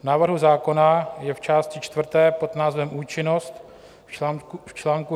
V návrhu zákona je v části čtvrté pod názvem účinnost v čl.